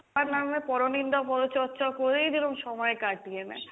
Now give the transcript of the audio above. সবার নামে পরো নিন্দা পরো চর্চা করেই যেরম সময় কাটিয়ে নেই,